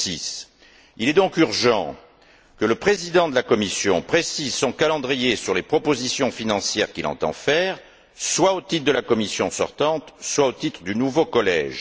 2006. Il est donc urgent que le président de la Commission précise son calendrier sur les propositions financières qu'il entend faire, soit au titre de la Commission sortante, soit au titre du nouveau collège.